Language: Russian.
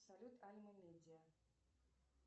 салют альма медиа